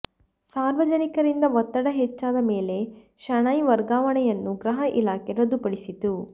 ಸಾರ್ವಜನಿಕರಿಂದ ಒತ್ತಡ ಹೆಚ್ಚಾದ ಮೇಲೆ ಶೆಣೈ ವರ್ಗಾವಣೆಯನ್ನು ಗೃಹ ಇಲಾಖೆ ರದ್ದುಪಡಿಸಿತು